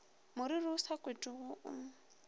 moriri o sa kotwego o